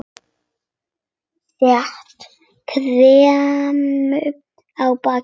Set kryppu á bakið.